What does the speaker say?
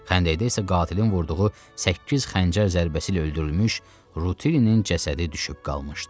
Xəndəkdə isə qatilin vurduğu səkkiz xəncər zərbəsi ilə öldürülmüş Rutilinin cəsədi düşüb qalmışdı.